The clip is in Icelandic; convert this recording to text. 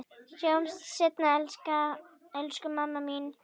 Sjáumst seinna elsku mamma mín.